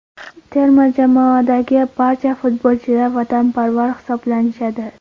Terma jamoadagi barcha futbolchilar vatanparvar hisoblanishadi.